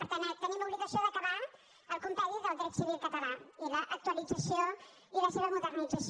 per tant tenim l’obligació d’acabar el compendi del dret civil català i l’actualització i la seva modernització